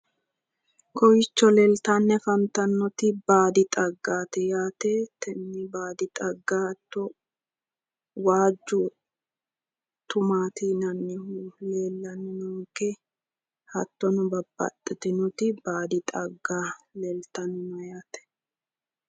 kowiicho leeltanni afantannoti baadi xaggaati yaate tini baadi xagga hatto waajju tumaati yinannihu leellannonke hattono babbaxitinoti baadi xagga leeltanno yaate.